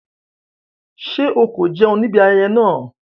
Ṣé o kò jẹun níbi ayẹyẹ náà?